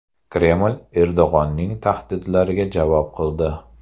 Kreml Erdo‘g‘onning tahdidlariga javob qildi.